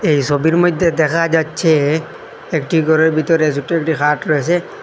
এই ছবির মইধ্যে দেখা যাচ্ছে একটি ঘরের ভিতরে ছোট্ট একটি খাট রয়েসে।